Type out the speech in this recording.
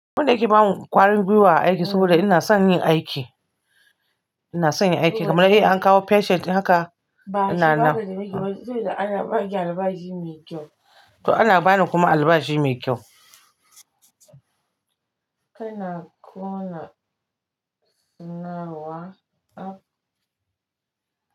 Abun da yake ba mu ƙwarin gwiwa aiki saboda ina son yin aiki. Ina son yin aiki. Kamar dai an kawo patient haka, ana nan. Bashi ba da miki, saboda ana ba ki albashi mai kyau. To ana bani kuma albashi mai kyau. Kana ƙona sana'ar wa?